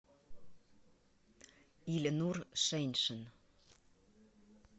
ильнур шеньшин